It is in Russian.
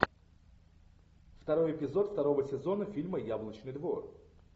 второй эпизод второго сезона фильма яблочный двор